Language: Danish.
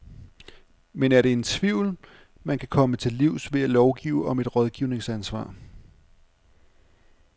Men er det en tvivl, man kan komme til livs ved at lovgive om et rådgivningsansvar.